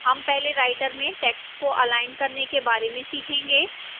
हम पहले writer में text को अलाइन करने के बारे में सीखेंगे